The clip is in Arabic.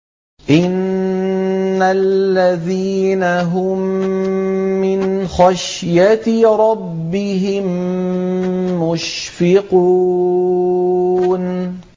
إِنَّ الَّذِينَ هُم مِّنْ خَشْيَةِ رَبِّهِم مُّشْفِقُونَ